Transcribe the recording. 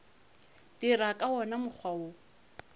dira ka wona mokgwa wo